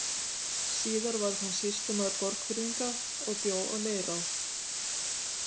Síðar varð hann sýslumaður Borgfirðinga og bjó á Leirá.